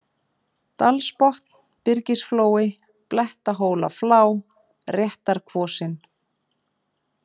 Dalsbotn, Byrgisflói, Bletthólaflá, Réttarkvosin